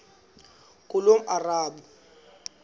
ngulomarabu